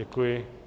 Děkuji.